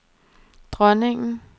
dronningen